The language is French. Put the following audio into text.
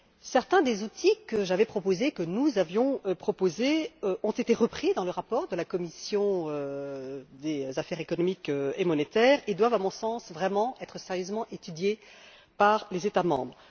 Certains des outils que j'avais proposés, que nous avions proposés, ont été repris dans le rapport de la commission des affaires économiques et monétaires et doivent à mon sens être sérieusement étudiés par les États membres.